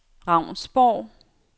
Ravnsborg